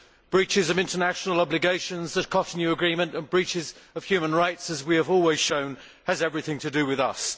Breaches of international obligations, the Cotonou agreement and breaches of human rights as we have always shown have everything to do with us.